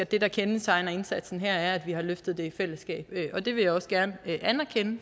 det der kendetegner indsatsen her er at vi har løftet det i fællesskab det vil jeg også gerne anerkende